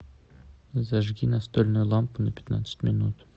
зажги настольную лампу на пятнадцать минут